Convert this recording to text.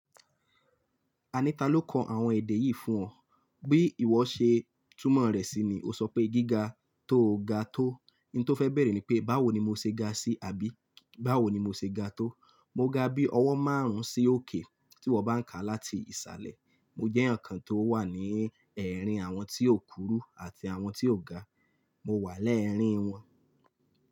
Aní ta ló kọ àwọn èdè yìí fún ọ. Bí ìwọ ṣe túmọ̀ rẹ̀ sí i ni o sọ pé gíga tó ga tó. N tó fẹ́ béèrè ni pé, báwo ni mo ṣe ga sí i? Àbí báwo ni mo ṣe ga tó? Mo ga bí ọwọ́ márùn ún sí òkè tí iwọ́ bá ń ka láti ìsàlẹ̀. Mo jẹ́ èèyàn kan tó wà ẹrín àwọn tí ó kurú àti àwọn tí ó ga. Mo wà lẹ́ẹ̀rín wọn.